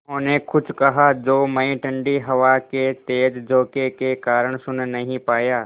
उन्होंने कुछ कहा जो मैं ठण्डी हवा के तेज़ झोंके के कारण सुन नहीं पाया